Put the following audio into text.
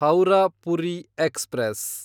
Howrah Puri express